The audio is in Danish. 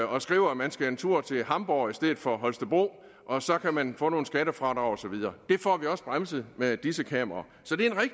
og skriver at man skal en tur til hamborg i stedet for holstebro og så kan man få nogle skattefradrag og så videre det får vi også bremset med disse kameraer så